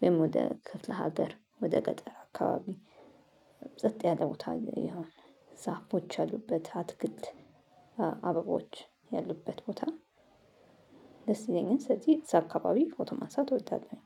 ወይም ወደ ክፍለ ሀገር ወደ ገጠር አካባቢ። ሰጥ ያለ ቦታ የሆነ ዛፎች ያሉበት አትክልት አበቦች ያሉበት ቦታ። ደስ ይለኛል ስለዚህ እዛ አካባቢ ፎቶ ማንሳት እወዳለሁኝ።